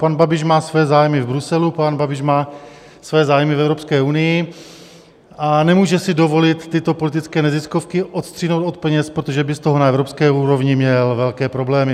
Pan Babiš má své zájmy v Bruselu, pan Babiš má své zájmy v Evropské unii a nemůže si dovolit tyto politické neziskovky odstřihnout od peněz, protože by z toho na evropské úrovni měl velké problémy.